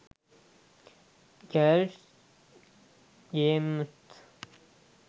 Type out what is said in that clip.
girls games